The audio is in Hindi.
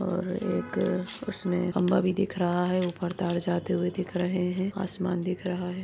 और एक अ उसमे खंबा भी दिख रहा है ऊपर तार जाते हुए दिख रहे है आसमान दिख रहा है।